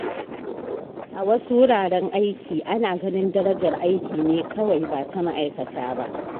A wasu wuraren aikin, ana ganin darajar aiki ne kawai, ba ta ma’aikata ba.